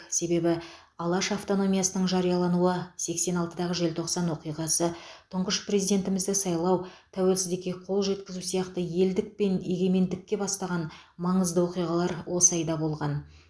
себебі алаш автономиясының жариялануы сексен алтыдағы желтоқсан оқиғасы тұңғыш президентімізді сайлау тәуелсіздікке қол жеткізу сияқты елдік пен егемендікке бастаған маңызды оқиғалар осы айда болған